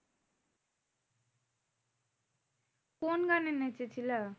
কোন গানে নেচে ছিলে?